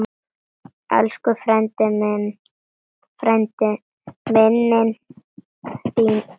Elsku frændi, minning þín lifir.